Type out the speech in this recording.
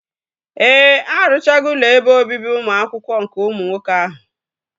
Ee, arụchago ụlọ ebe obibi ụmụ akwụkwọ nke ụmụ nwoke ahụ